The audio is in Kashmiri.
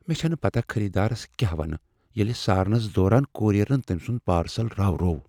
مےٚ چھنہٕ پتہ خریدارس كیاہ وَنہٕ ییلہِ سارنس دوران كوریرن تمۍ سُند پارسل راوروو ۔